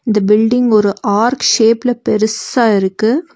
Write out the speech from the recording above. இந்த பில்டிங் ஒரு ஆர்க் ஷேப்ல பெரூசா இருக்கு.